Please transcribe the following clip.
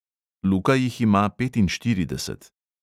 Luka jih ima petinštirideset.